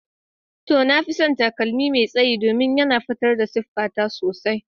To, na fi son takalmi mai tsayi domin yana fitar da siffata sosai.